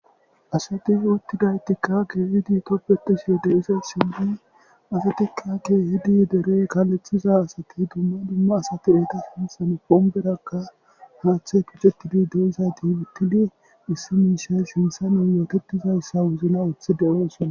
ASati utidaytika keehid tobetishe de'izaysat, asatika keehid derey kalethiza asati dumma dumma asati eta sinthan pomperaka haathey tiketid de'izayti utidi issi mishay sinthan yootetizaysa wozinan wothi siyosona